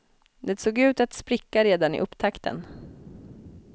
Det såg ut att spricka redan i upptakten.